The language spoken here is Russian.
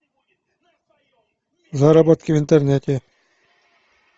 заработки в интернете